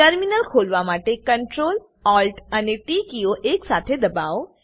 terminal ખોલવા માટે CTRL ATL અને ટી કીઓ એક સાથે દબાઓ